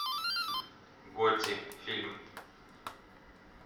готти фильм